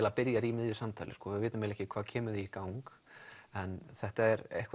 byrjar í miðju samtali við vitum ekki hvað kemur því í gang en þetta er eitthvað